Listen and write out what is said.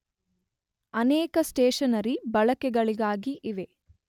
ಅನೇಕ ಸ್ಟೇಷನರಿ ಬಳಕೆಗಳಿಗಾಗಿ ಇವೆ